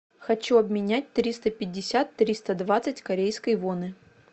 хочу обменять триста пятьдесят триста двадцать корейской воны